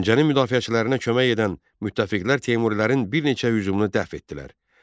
Əlincənin müdafiəçilərinə kömək edən müttəfiqlər Teymurilərin bir neçə hücumunu dəf etdilər.